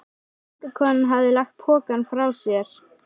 Göngukonan hafði lagt pokann frá sér.